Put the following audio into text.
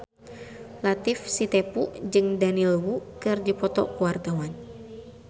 Latief Sitepu jeung Daniel Wu keur dipoto ku wartawan